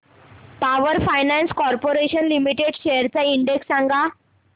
power Finance Corporation Limited shares चा index सांगा